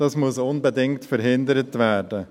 Dies muss unbedingt verhindert werden.